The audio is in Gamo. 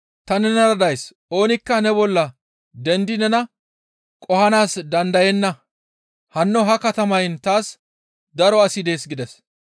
ta nenara days; oonikka ne bolla dendi nena qohanaas dandayenna; hanno ha katamayn taas daro asi dees» gides.